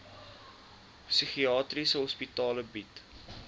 psigiatriese hospitale bied